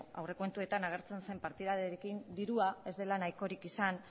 aurrekontuetan agertzen zen partidarekin dirua ez dela nahikorik izan